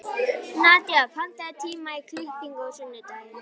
Nadía, pantaðu tíma í klippingu á sunnudaginn.